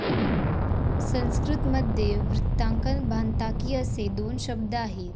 संस्कृत मध्ये वृत्तांकन भानताकीअसे दोन शब्द आहेत